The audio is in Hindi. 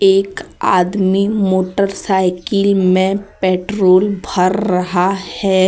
एक आदमी मोटरसाइकिल में पेट्रोल भर रहा है।